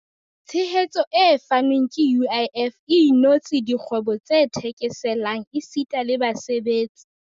Tshehetso e fanweng ke UIF e inotse dikgwebo tse theke-selang esita le basebetsi.